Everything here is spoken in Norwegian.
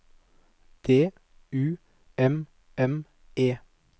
D U M M E